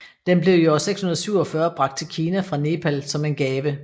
Den blev i år 647 bragt til Kina fra Nepal som en gave